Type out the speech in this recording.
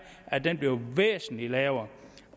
at den bliver væsentlig lavere